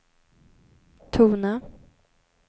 tona